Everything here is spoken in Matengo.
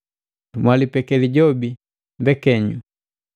Mwalipeke lijobi mbekenyu.